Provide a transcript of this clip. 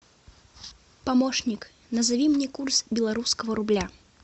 помощник назови мне курс белорусского рубля